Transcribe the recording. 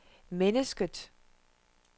mennesket